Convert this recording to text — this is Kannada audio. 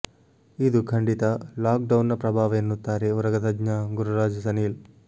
ಇದು ಖಂಡಿತಾ ಲಾಕ್ ಡೌನ್ನ ಪ್ರಭಾವ ಎನ್ನುತ್ತಾರೆ ಉರಗತಜ್ಞ ಗುರುರಾಜ ಸನೀಲ್